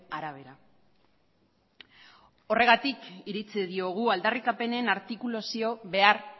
arabera horregatik iritzi diogu aldarrikapenen artikulu zio behar